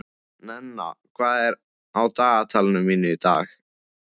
Nenna, hvað er á dagatalinu mínu í dag?